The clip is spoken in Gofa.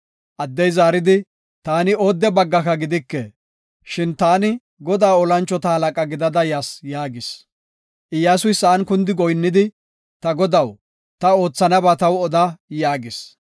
Addey zaaridi, “Taani oodde baggaka gidike. Shin ta Godaa tora mocona gidada yas” yaagis. Iyyasuy sa7an kundi goyinnidi, “Ta godaw, ta oothanaba taw odaa” yaagis.